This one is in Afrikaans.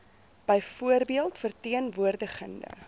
byvoorbeeld verteen woordigende